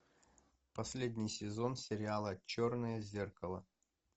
последний сезон сериала черное зеркало